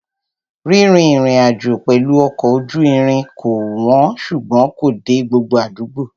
Rírìn ìrìnàjò pẹ̀lú ọkọ̀ ojú irin kò wọ́n ṣùgbọ́n kò dé gbogbo àdúgbò.